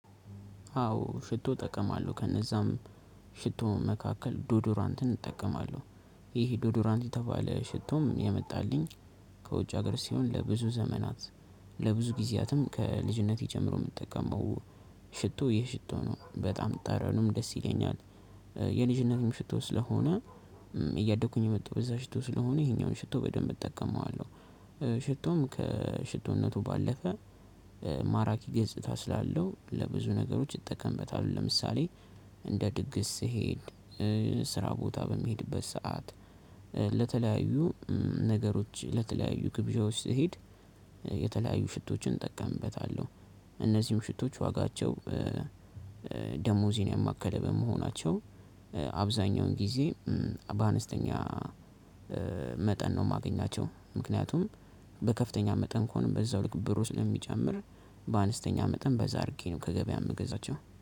አዎ ሽቶ እጠቀማለሁ ከነዛም ሽቶ መካከል ዶዶራንትን እጠቀማለሁ ይሄ ዶዶራንት የተባለ ሽቶም የመጣልኝ ከውጭ ሀገር ሲሆን ለብዙ ዘመናት ለብዙ ጊዜያትም ከልጅነቴ ጀምሮ እምጠቀመው ሽቶ ይሄ ሽቶ ነው በጣም ጠረኑም ደስ ይለኛል። የልጅነትም ሽቶ ስለሆነ እያደኩኝ የመጣው በዛ ሽቶ ስለሆነ ይሄኛውን ሽቶ በደንብ እጠቀመዋለሁ። ሽቶም ከሽቶነቱ ባለፈ ማራኪ ገጽታ ስላለው ለብዙ ነገሮች እጠቀምበታለሁ። ለምሳሌ እንደ ድግስ ስሄድ ስራ ቦታ በሚሄድበት ሰዓት ለተለያዩ ነገሮች ለተለያዩ ግብዣ ውስጥ ስሄድ የተለያዩ ሽቶችን እጠቀምበታለሁ። እነዚህም ሽቶች ዋጋቸው ደሞዜን ያማከለ በመሆናቸው አብዛኛውን ጊዜ በአነስተኛ መጠን ነው እማገኛቸው። ምክንያቱም በከፍተኛ መጠን ከሆነ በዛው ልክ ብሩ ስለሚጨምር በአነስተኛ መጠን በዛ አድርጌ ነው ከገበያ የምገዛቸው